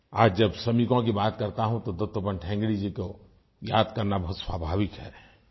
आज जब श्रमिकों की बात करता हूँ तो दत्तोपन्त ठेंगड़ी जी को याद करना बहुत स्वाभाविक है